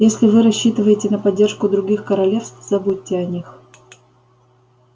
если вы рассчитываете на поддержку других королевств забудьте о них